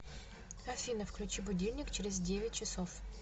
афина включи будильник через девять часов